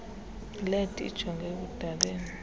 led ijonge ekudaleni